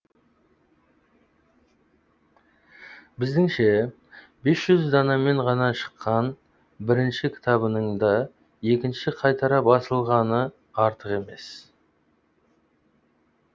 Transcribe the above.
біздіңше бес жүз данамен ғана шыққан бірінші кітабының да екінші қайтара басылғаны артық емес